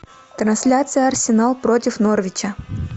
трансляция арсенал против норвича